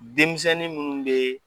Denmisɛnnin minnu bɛ